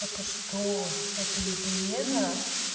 это что это измена